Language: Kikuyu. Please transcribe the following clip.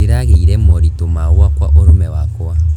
Ndĩragĩire moritũ ma gwaka ũrũme wakwa.